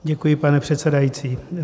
Děkuji, pane předsedající.